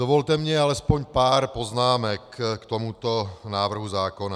Dovolte mi alespoň pár poznámek k tomuto návrhu zákona.